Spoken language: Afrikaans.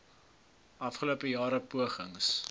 afgelope jare pogings